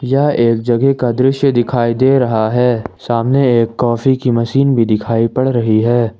यह एक जगह का दृश्य दिखाई दे रहा है सामने एक कॉफी की मशीन भी दिखाई पड़ रही है।